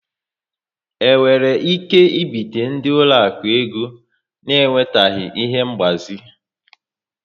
E nwere ike ibite ndị ụlọaku ego na enwetaghị ihe ngbazi